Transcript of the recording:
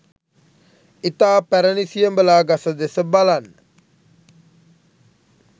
ඉතා පැරණි සියඹලා ගස දෙස බලන්න